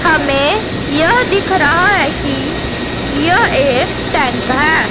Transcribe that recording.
हमें यह दिख रहा है कि यह एक टैंक है।